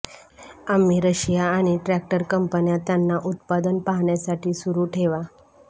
आम्ही रशिया आणि ट्रॅक्टर कंपन्या त्यांना उत्पादन पाहण्यासाठी सुरू ठेवा